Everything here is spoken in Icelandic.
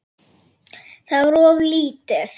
Það var of lítið.